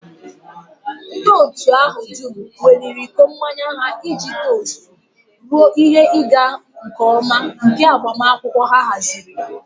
Ndị otu ahụ dum weliri iko mmanya ha iji tost ruo ihe ịga nke ọma nke agbamakwụkwọ ha haziri